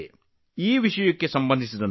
ಜನರು ಈ ವಿಷಯದ ಬಗ್ಗೆ ಬಹಳ ಕುತೂಹಲಿಗಳಾಗಿದ್ದಾರೆ